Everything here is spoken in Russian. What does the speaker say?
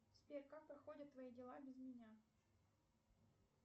сбер как проходят твои дела без меня